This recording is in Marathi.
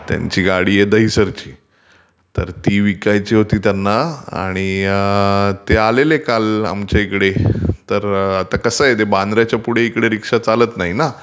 त्यांची गाडी आहे दहीसरची तर ती विकायची होती त्यांना आणि ते आलेले काल आमच्या इकडे तर आता कसं आहे ते बांद्र्याच्या पुढे इकडे रीक्षा चालतं नाही ना